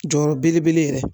Jɔyɔrɔ belebele yɛrɛ